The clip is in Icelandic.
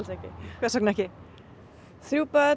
hvers vegna þrjú börn